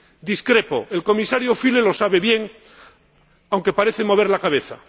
Discrepo. El Comisario Füle lo sabe bien, aunque parece mover la cabeza.